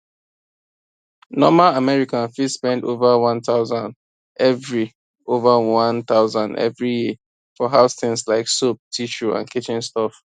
normal american fit spend over 1000 every over 1000 every year for house things like soap tissue and kitchen stuff